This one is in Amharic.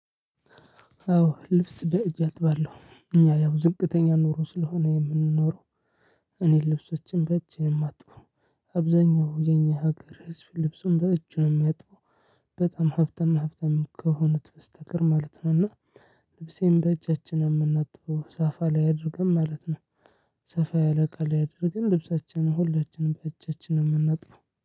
አዎ ልብስ በእጅ አጥባለሁ እኛ ያው ዝቅተኛ ኑሮ ስለሆነ የምንኖረው። እኔ ልብሶቼን በእጄ ማጥበው። አብዛኛው የኛ ሀገር ህዝብ ልብሱን በእጁ ነው ሚያጥበው። በጣም ሀብታም ሀብታም ከሆኑት በስተቀር ማለት ነው። እና። ልብሴን በእጃችን ነው ምናጥበው ሳፋ ላይ አድርገን ማለት ነው። ሰፋ ያለ እቃ ላይ አድርገን ልብሳችንን ሁለችንም በእጃችን ነው ምናጥበው።